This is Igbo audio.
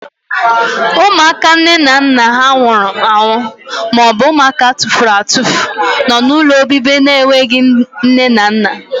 Ụmụaka nne na nna ha nwụrụ anwụ maọbụ ụmụaka atufuru atufu nọ n'ụlọobibi ndị enweghị nne na nna.